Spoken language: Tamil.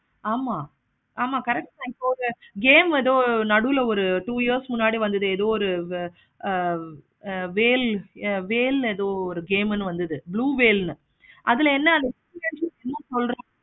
ஆமா ஆமா correct தான் இப்போ ஒரு game எதோ நடுவுல two years க்கு முன்னாடி வந்தது. whale whale எதோ ஒரு game வந்தது. blue whale அதுல என்ன